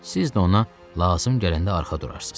Siz də ona lazım gələndə arxa durarsız.